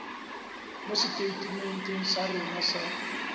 mo seteitementeng sa rona sa